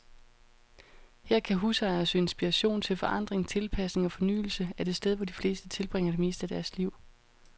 Her kan husejere søge inspiration til forandring, tilpasning og fornyelse af det sted, hvor de fleste tilbringer det meste af deres liv.